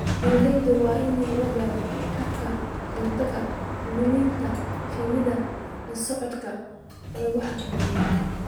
Beeralayda waa in la baro hababka looga hortagayo luminta shinnida socdaalka aan la xakameynin.